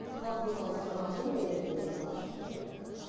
халық мысалы сұраған соң мен өзім мысалы ашып отырмғо